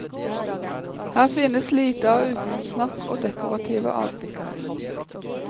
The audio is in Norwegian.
Her finnes lite av utenomsnakk og dekorative avstikkere.